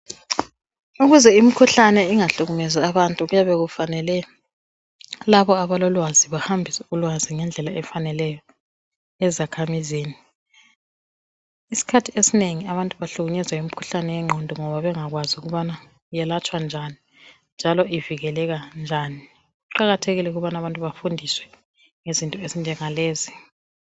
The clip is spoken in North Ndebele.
Ukuze imikhuhlane ingahlukumezi abantu. Kuyabe kufanele labo abalolwazi, bahambise ulwazi ngendlela efaneleyo, ezakhamizini. Isikhathi esinengi abantu bahlukunyezwa yimikhuhlane yengqondo, ngoba bengakwazi ukuthi yelatshwa njani, njalo ivikeleka njani. Kuqakathekile ukuthi abantu bafundiswe ngezinto ezinjengalezi.